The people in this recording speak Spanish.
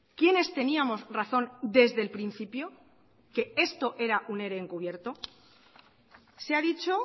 quiénes teníamos razón desde el principio que esto era un ere en cubierto se ha dicho